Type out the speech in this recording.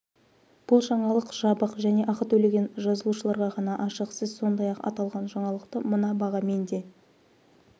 бұл жаңалық жабық және ақы төлеген жазылушыларға ғана ашық сіз сондай-ақ аталған жаңалықты мына бағамен де